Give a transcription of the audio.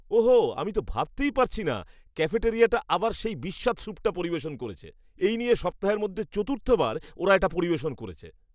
ওহ হো, আমি ভাবতেই পারছি না ক্যাফেটেরিয়াটা আবার সেই বিস্বাদ স্যুপটা পরিবেশন করছে। এই নিয়ে সপ্তাহের মধ্যে চতুর্থবার ওরা এটা পরিবেশন করেছে।